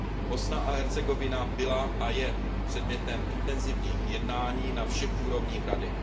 Bosna a Hercegovina byla a je předmětem intenzivních jednání na všech úrovních Rady.